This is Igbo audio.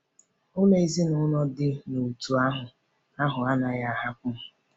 Ụlọ ezinụlọ dị n’òtù ahụ ahụ anaghị ahapụ m.